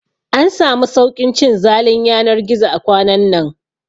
An samu sauƙin cin zalin yanar gizo a kwanan nan